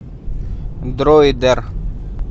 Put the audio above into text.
дроидер